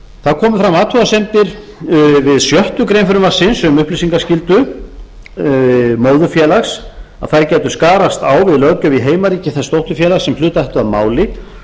það komu fram athugasemdir við sjöttu greinar frumvarpsins um upplýsingaskyldu móðurfélags að það gæti skarast á við löggjöf í heimaríki þess dótturfélags sem hlut ætti að máli